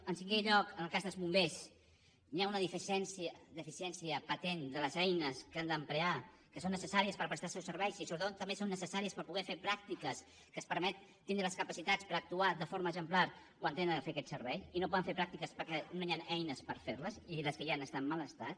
en cinquè lloc en el cas dels bombers hi ha una deficiència patent de les eines que han d’emprar que són necessàries per prestar els seus serveis i sobretot també són necessàries per poder fer pràctiques que els permeten tindre les capacitats per actuar de forma exemplar quan tenen de fer aquest servei i no poden fer pràctiques perquè no hi ha eines per fer les i les que hi han estan en mal estat